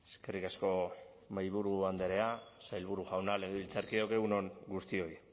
eskerrik asko mahaiburu andrea sailburu jauna legebiltzarkideok egun on guztioi